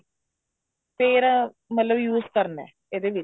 ਫ਼ੇਰ ਮਤਲਬ use ਕਰਨਾ ਇਹਦੇ ਵਿੱਚ